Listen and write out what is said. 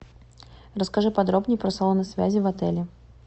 расскажи подробней про салоны связи в отеле